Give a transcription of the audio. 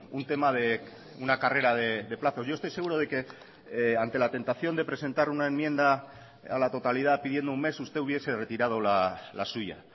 un tema de una carrera de plazos yo estoy seguro de que ante la tentación de presentar una enmienda a la totalidad pidiendo un mes usted hubiese retirado la suya